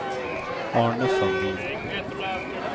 Arne Sandin